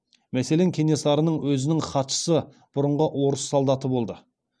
мәселен кенесарының өзінің хатшысы бұрынғы орыс солдаты болды